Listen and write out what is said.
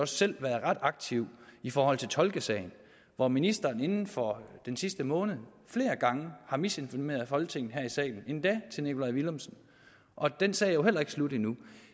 selv været ret aktiv i forhold til tolkesagen hvor ministeren inden for den sidste måned flere gange har misinformeret folketinget her i salen endda til herre nikolaj villumsen og den sag er jo heller ikke slut endnu